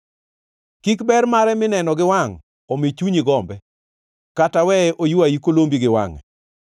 Kik ber mare mineno gi wangʼ omi chunyi gombe kata weye oywayi kolombi gi wangʼe.